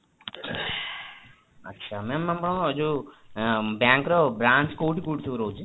ଆଚ୍ଛା ma'am ଆପଣଙ୍କର ଏଯୋଉ ଆଁ bank ର branch କୋଉଠି କୋଉଠି ସବୁ ରହୁଛି ?